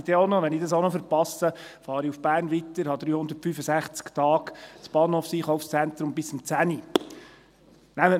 Wenn ich dies auch noch verpasse, fahre ich weiter nach Bern, wo mir an 365 Tagen bis um 22 Uhr das Bahnhofseinkaufszentrum zur Verfügung steht.